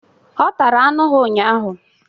Ọ tara anụ ha ụnyaahụ.